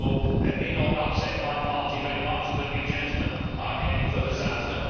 That may not upset my party very much, but you gentlemen are heading for disaster.